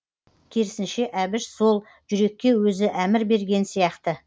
керісінше әбіш сол жүрекке өзі әмір берген сияқты